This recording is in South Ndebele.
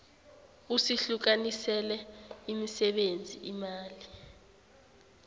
usihlukanisele imisebenzi imali